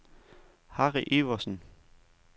Harry Iversen